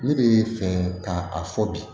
Ne bɛ fɛ ka a fɔ bi